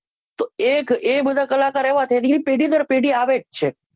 તો એક એ બધા કલાકાર એવા ને જે પેઢી દર પેઢી આવે જ છે